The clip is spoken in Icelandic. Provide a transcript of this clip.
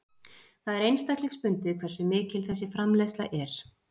Það er einstaklingsbundið hversu mikil þessi framleiðsla er.